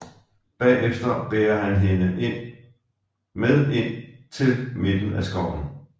Bagefter bærer han hende med ind til midten af Skoven